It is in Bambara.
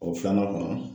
O filanan kɔnɔ